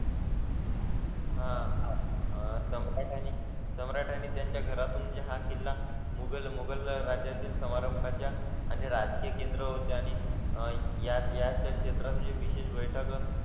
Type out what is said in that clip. हां आह तमिळ आणि सम्राट आणि त्यांच्या घरातून जे हा किल्ला मोगल मोगल राज्यातील समारंभा च्या आणि राजकीय केंद्र होते आणि आह याच्यात या क्षेत्रामध्ये विशेष बैठक